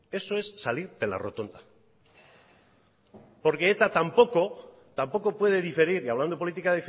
eso es salir de la rotonda porque eta tampoco puede diferir ty hablando de política